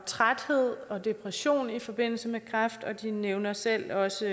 træthed og depression i forbindelse med kræft og de nævner selv også